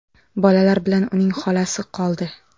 Bolalar bilan uning xolasi qoldi.